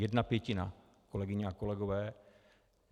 Jedna pětina, kolegyně a kolegové.